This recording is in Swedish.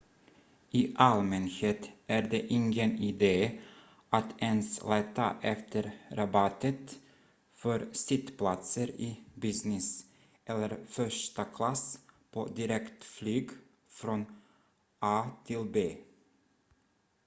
i allmänhet är det ingen idé att ens leta efter rabatter för sittplatser i business- eller första klass på direktflyg från a till b